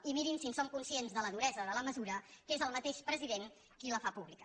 i mirin si en som conscients de la duresa de la mesura que és el mateix president qui la fa pública